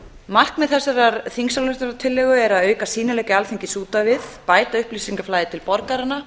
markmið þessarar þingsályktunar er að auka sýnileika alþingis út á við bæta upplýsingaflæði til borgaranna